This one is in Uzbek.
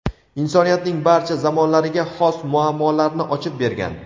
insoniyatning barcha zamonlariga xos muammolarni ochib bergan.